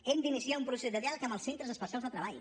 hem d’iniciar un procés de diàleg amb els centres especials de treball